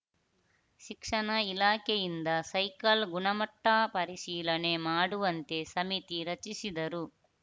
ಶಿಕ್ಷಣ ಇಲಾಖೆಯಿಂದ ಸೈಕಲ್‌ ಗುಣಮಟ್ಟಪರಿಶೀಲನೆ ಮಾಡುವಂತೆ ಸಮಿತಿ ರಚಿಸಿದರು